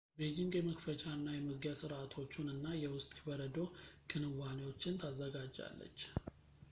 ቤጂንግ የመክፈቻ እና የመዝጊያ ሥርዓቶቹን እና የውስጥ የበረዶ ክንዋኔዎችን ታዘጋጃለች